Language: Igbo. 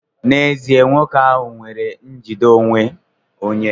N'ezie, nwoke ahụ nwere njide onwe onye.